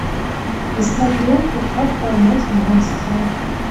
искать ленту как поймать монстра